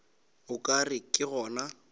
o ka re ke gona